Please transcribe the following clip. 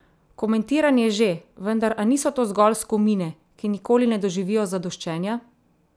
Komentiranje že, vendar a niso to zgolj skomine, ki nikoli ne doživijo zadoščenja?